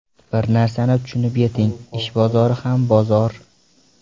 Bir narsani tushunib yeting ish bozori ham bozor!